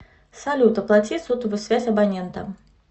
салют оплати сотовую связь абонента